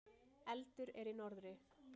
Eldur er í norðri.